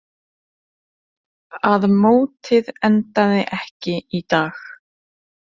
Að mótið endaði ekki í dag.